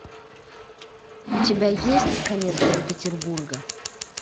у тебя есть конец санкт петербурга